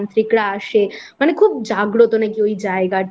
সব তান্ত্রিকরা আসে মানে খুব জাগ্রত নাকি ওই জায়গাটা